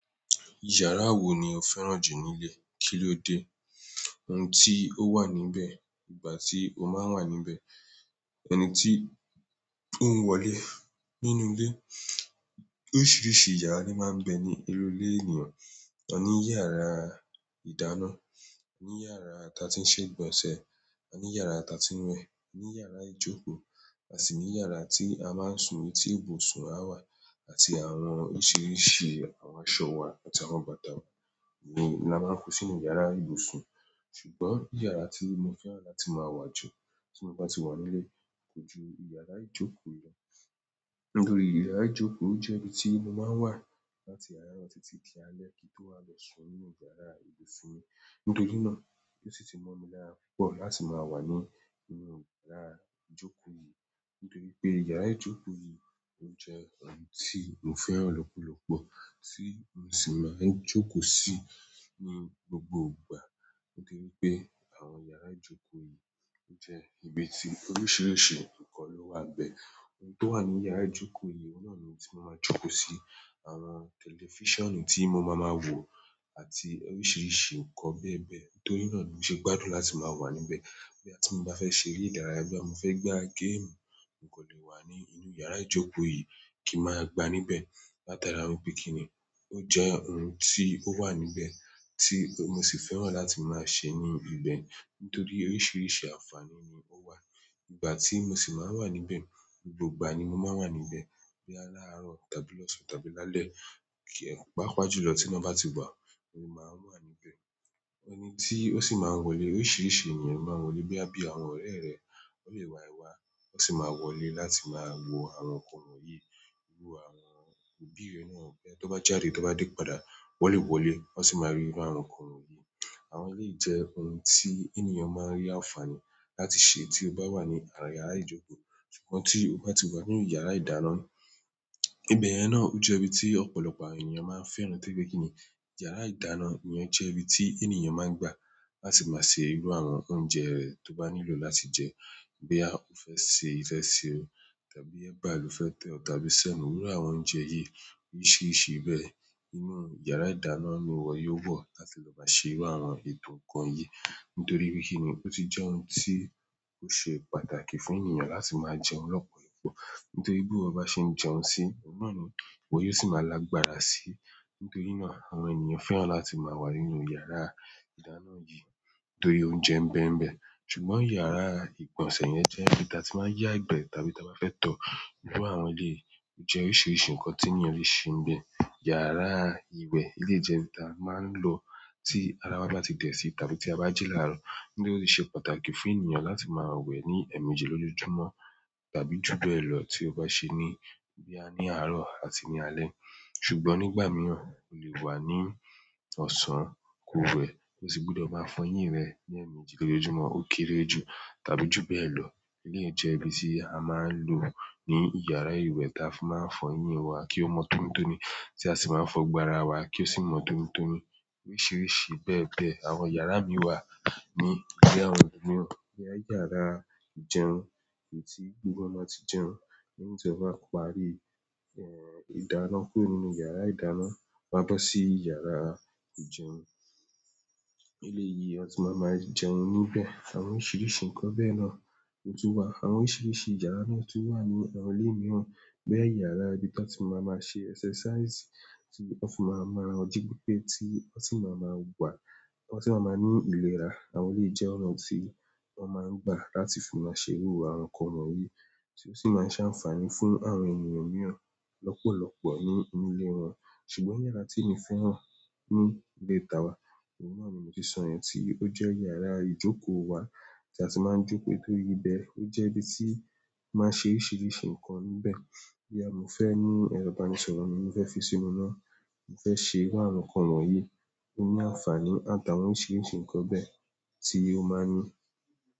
Yàrá wo ni o fẹ́ràn jù nílé? Kí ló dé? Ohun tí ó wà níbẹ̀, ìgbà tí o máa ń wà níbẹ̀, ẹni tí ó ń wọlé nínú ilé. Oríṣiríṣi yàrá ni máa ń bẹ ní inú ilé ènìyàn. A ní yàrá ìdáná, a ní yàrá tí a ti ń ṣe ìgbọ̀nsẹ̀, a ní yàrá tí a ti ń wẹ̀, a ní yàrá ìjókòó, à sì ní yàrá tí a máa ń sùn ní tí ibùsùn a wà àti àwọn oríṣiríṣi àwọn aṣọ wa àtàwọn bàtà wa ni a máa ń kó sínú yàrá ìbùsùn. Ṣùgbọ́n yàrá tí mo fẹ́ràn láti máa wà jù tí mo bá ti wà nílé kò ju yàrá ìjókòó lọ. Nítorí yàrá ìjókòó jẹ́ ibi tí mo máa ń wà láti àárọ̀ títí di alẹ́ kí n tó wá lọ sùn nínú yàrá ìbùsùn mi. Nítorí náà ni ó sì ti mọ́ mi lára púpọ̀ láti máa wà nínú yàrá ìjókòó yìí. Nítorí pé yàrá ìjókòó yìí o jẹ́ ibi tí mo fẹ́ràn lọ́pọ̀lọpọ̀ tí mo sì máa ń jókòó sì ní gbogbo ìgbà. Nítorí pé àwọn yàrá ìjókòó yìí jẹ́ ibi tí oríṣiríṣi nǹkan ló wà bẹ́ẹ̀. Ohun tó wà ní yàrá ìjókòó yìí ohun náà ni ohun tí mo máa ń jókòó sì, àwọn tẹlifíṣànù tí mo máa máa wò àti oríṣiríṣi nǹkan bẹ́ẹ̀ bẹ́ẹ̀. Torí náà ni mo ṣe gbádùn láti máa wà níbẹ̀. Boya ti i bá fẹ́ ṣe eré ìdárayá boya mo fẹ́ gbá géèmù, mo kan lè wà ní inú yàrá ìjókòó yìí kí n máa gbá níbẹ̀. Láta ara wípé kín ní ó jẹ́ ohun tí ó wà níbẹ̀ tí mo sì fẹ́ràn láti máa ṣe ní ibẹ̀ nítorí oríṣiríṣi àǹfààní ni ó wà. Ìgbà tí mo sì máa ń wà níbẹ̀, gbogbo ìgbà ni mo máa ń wà níbẹ̀. Bí laarọ̀ tàbí lọ̀sán tàbí lálẹ́ páápàá jùlọ tí iná bá ti wà, ni máa wà níbẹ̀. Ẹni tí ó sì máa ń wọlé, oríṣiríṣi ènìyàn lo máa ń wọlé boya bíi àwọn ọ̀rẹ́ rẹ̀, wọ́n lè wá ẹ̀ wá, wọ́n sì máa wọlé láti máa wo àwọn nǹkan wọ̀nyí. Iru àwọn òbí rẹ̀ náà bẹ́ẹ̀, tó bá jáde tó bá dé padà, wọn lé wọlé, wọ́n sì máa rí inú àwọn nǹkan wọ̀nyí. Àwọn eleyii jẹ́ ohun tí ènìyàn máa ń rí àǹfààní láti ṣe tí ó bá wà ní àárín yàrá ìjókòó. Ṣùgbọ́n tí o bá ti wà inú yàrá ìdáná, ibẹ̀ yẹn náà o jẹ́ ibi tí ọ̀pọ̀lọpọ̀ àwọn ènìyàn máa ń fẹ́ràn torí pe kíni. Yàrá ìdáná ni ọ́ jẹ́ ibi tí ènìyàn máa ń gbà láti máa ṣe irú àwọn oúnjẹ rẹ̀ tó bá nílò láti jẹ. Boya o fẹ́ se ìfẹ́ṣẹ́ tàbí ẹba lo fẹ́ tẹ́ ọ̀ tàbí sẹ̀mọ́, irú àwọn oúnjẹ yìí oríṣiríṣi bẹ́ẹ̀, inú yàrá ìdáná ni wọ́n yóò wọ̀ láti lọ máa ṣe irú àwọn ètò nǹkan yìí. Nítorí pé kíni ó ti jẹ́ ohun tí ó ṣe pàtàkì fún ènìyàn láti máa jẹun lọ́pọ̀ ìgbà. Nítorí bi iwọ ba n ṣe jẹun sii, ohun náà ni iwo yóò sì máa lágbára sí. Nítorí náà àwọn ènìyàn fẹ́ràn láti máa wà nínú yàrá ìdáná yìí nítorí óunjẹ n bẹ́mbẹ́. Ṣùgbọ́n yàrá ìgbọ̀nsẹ̀ yẹn jẹ́ ibi tí a ti máa ń yá ìgbẹ́ tàbí tí a bá fẹ́ tọ́. Iru àwọn eleyii o jẹ́ oríṣiríṣi nǹkan tí ènìyàn lè ṣe nbẹ̀. Yàrá ìwẹ̀ lè jẹ́ ibi tí a máa ń lọ tí ara wa bá ti dẹ̀ sí tàbí tí a bá jí láàárọ̀. Nítorí ó ṣe pàtàkì fún ènìyàn láti máa wẹ̀ ní ẹ̀ẹ̀mejì lọjọ́júmọ́ tàbí ju bẹ́ẹ̀ lọ tí ó bá ṣe ní boya ní àárọ̀ àti ní alẹ́. Ṣùgbọ́n nígbà mìíràn o lè wà ní ọ̀sán ko wẹ̀, ó sì gbúdọ̀ máa fọ ẹyín rẹ ní ẹ̀ẹ̀mejì lójoojúmọ́ ó kéré jù tàbí ju bẹ́ẹ̀ lọ. Eleyii jẹ́ ibi tí a máa ń lò ní iyàrá ìwẹ̀ tí a fi máa ń fọ ẹyín wa kí ó mọ́ tonitoni, tí a sì máa ń fọ gbogbo ara wa kí ó sì mọ́ tonitoni oríṣiríṣi bẹ́ẹ̀ bẹ́ẹ̀. Àwọn yàrá mìí wà ní ilé àwọn ẹlòmíràn boya yàrá ìjẹun èyí tí gbogbo wọn máa ń ti jẹun. Lẹ́yìn tí wọn bá parí ìdáná kúrò nínú yàrá ìdáná wọ́n á bọ́ sí yàrá ìjẹun. Ile yìí wọn tun máa ń máa jẹun níbẹ̀, àwọn oríṣiríṣi nǹkan bẹ́ẹ̀ náà o tun wà. Àwọn oríṣiríṣi yàrá mìíràn tun wà ní àwọn ilé mìíràn boya iyàrá ibi tí wọ́n ti máa ń máa ṣe ẹ́sẹ́sàísì tí wọ́n fi máa mu ara wọn ji pepe ti wọn si maa maa wa wọn tun máa ń máa ní ìlera. Àwọn eleyii jẹ́ ọ̀nà tí wọ́n máa ń gbà láti fi máa ṣe irú àwọn nǹkan wọ̀nyí tí ó sì máa ń ṣàǹfààní fún àwọn ènìyàn mìíràn lọ́pọ̀lọpọ̀ ní inú ilé wọn. Ṣùgbọ́n yàrá tí èmi fẹ́ràn ní ilé ta wa, ohun náà ni mo ti sọ yẹn tí ó jẹ́ yàrá ìjókòó wa tí a ti máa ń jókòó nítorí ibẹ̀ ó jẹ́ ibi tí mo máa n ṣe oríṣiríṣi nǹkan níbẹ̀. Boya mo fẹ́ ní ẹrọ̀ ìbánisọ̀rọ̀ ni mo fẹ́ fi sínú náà, mo fẹ́ ṣe irú àwọn nǹkan wọ̀nyí tó ní àǹfààní àtàwọn oríṣiríṣi nǹkan bẹ́ẹ̀ tí ó máa ń ní.